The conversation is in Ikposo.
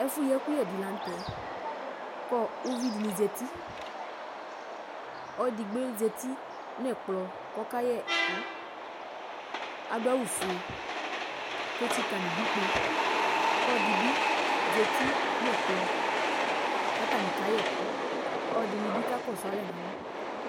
Ɛfu yi ɛkuyɛ di la nu tɛ ku uvidi zati ɔluedigbo zati nɛkplɔ ku ɔkayɛ ɛku adu awu fue ketsika nu idu kpeyi ku ɔlɔdi bi zati nɛkplɔ katani ka yɛ ɛku ɔlɔdini bi kakɔsu alɛ nalɔ